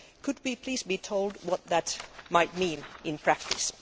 Could we please be told what that might mean in practice?